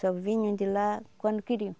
Só vinham de lá quando queriam.